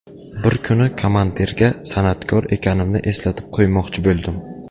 Bir kuni komandirga san’atkor ekanimni eslatib qo‘ymoqchi bo‘ldim.